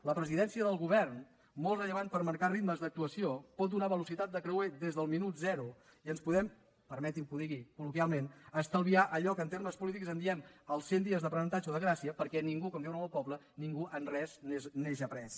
la presidència del govern molt rellevant per marcar ritmes d’actuació pot donar velocitat de creuer des del minut zero i ens podem permeti’m que ho digui col·loquialment estalviar allò que en termes polítics en diem els cent dies d’aprenentatge o de gràcia perquè ningú com diuen en el meu poble ningú en res neix après